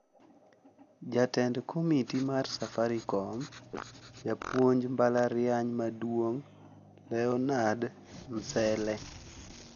Jatend Komiti mar Safaricom, Japuonj mbalariany maduong' Leonard Mselle